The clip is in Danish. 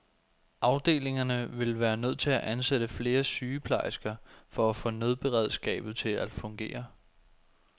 Afdelingerne ville være nødt til at ansætte flere sygeplejersker for at få nødberedskabet til at fungere.